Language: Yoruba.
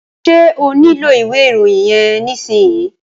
Ṣé o nílò ìwé ìròyìn yẹn nísìsiyìí?